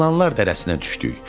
İlanlar dərəsinə düşdük.